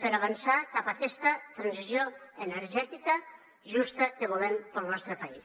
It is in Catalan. per avançar cap a aquesta transició energètica justa que volem per al nostre país